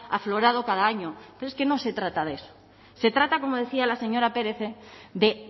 aflorado cada año pero es que no se trata de eso se trata como decía la señora pérez de